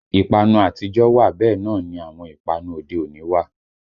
Ìpanu àtijọ́ wà bẹ́ẹ̀ náà ni àwọn ìpanu òde òní wà